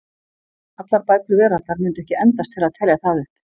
Allar bækur veraldar mundu ekki endast til að telja það upp.